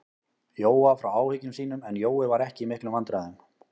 Jóa frá áhyggjum sínum, en Jói var ekki í miklum vandræðum.